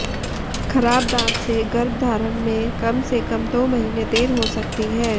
खराब दांत से गर्भधारण में कम से कम दो महीने देर हो सकती है